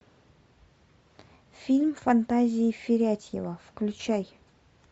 фильм фантазии фарятьева включай